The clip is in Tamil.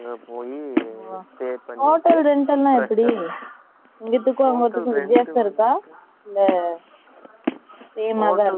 போயி, hotel rent எல்லாம் எப்படி? இங்கிட்டு, வித்தியாசம் இருக்கா?